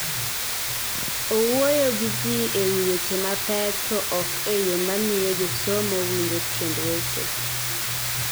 Owuoyo gi ji e wi weche mapek to ok e yo mamiyo josomo winjo tiend weche.